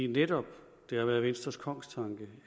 netop været venstres kongstanke